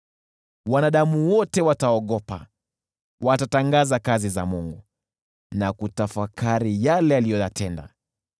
Wanadamu wote wataogopa, watatangaza kazi za Mungu na kutafakari yale aliyoyatenda.